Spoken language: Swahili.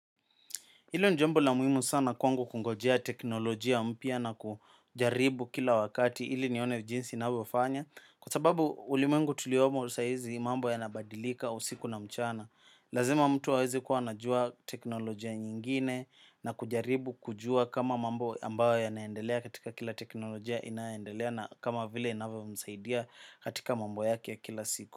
Hilo ni jambo la muhimu sana kwangu kungojea teknolojia mpya na kujaribu kila wakati ili nione jinsi inavyofanya. Kwa sababu ulimwengu tuliomo saizi mambo yanabadilika usiku na mchana. Lazima mtu aweze kuwa anajua teknolojia nyingine na kujaribu kujua kama mambo ambayo yanaendelea katika kila teknolojia inaendelea na kama vile inavyomsaidia katika mambo yake ya kila siku.